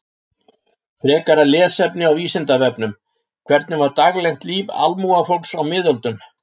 Frekara lesefni á Vísindavefnum: Hvernig var daglegt líf almúgafólks á miðöldum?